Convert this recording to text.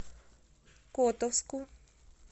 котовску